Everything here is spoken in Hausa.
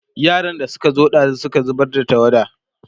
yaran da Suka zo ɗazun Suka zubar da tawada